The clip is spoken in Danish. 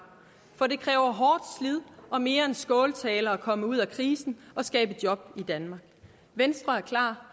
for det kræver hårdt slid og mere end skåltaler at komme ud af krisen og skabe job i danmark venstre er klar